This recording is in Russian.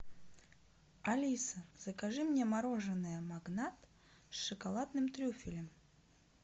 алиса закажи мне мороженое магнат с шоколадным трюфелем